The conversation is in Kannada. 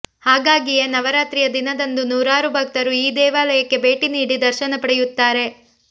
ಹಾಗಾಗಿಯೇ ನವರಾತ್ರಿಯ ದಿನದಂದು ನೂರಾರು ಭಕ್ತರು ಈ ದೇವಾಲಯಕ್ಕೆ ಭೇಟಿ ನೀಡಿ ದರ್ಶನ ಪಡೆಯುತ್ತಾರೆ